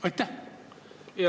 Aitäh!